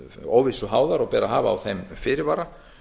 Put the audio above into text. óvissu háðar og ber að hafa á þeim fyrirvara